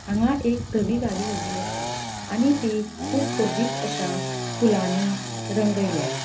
हांगा एक धवि गाड़ी ऊबी असा आणि ती कुब सोबित अशा फुलानी रंगयल्या.